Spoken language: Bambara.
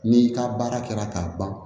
N'i ka baara kɛra k'a ban